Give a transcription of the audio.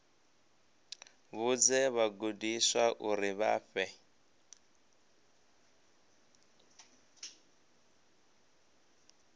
vhudze vhagudiswa uri vha fhe